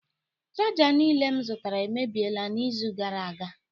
Chaja niile m zụtara emebiela n'izu gara aga